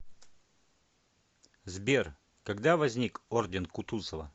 сбер когда возник орден кутузова